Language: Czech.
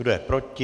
Kdo je proti?